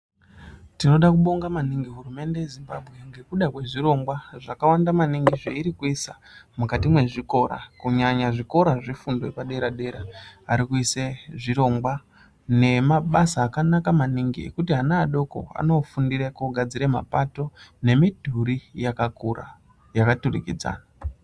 Tinoda kubonga manhingi hurumende yeZimbabwe ngekuda kwezvirongwa zvakawanda manhingi zvairi kuisa mukati mezvikora, kunyanya zvikora zvefundo yepadera dera. Ari kuise zvirongwa nemabasa akanaka manhingi ekuti ana adoko anofundire kugadzira mapato nemidhuri yakakura yakturikidzana.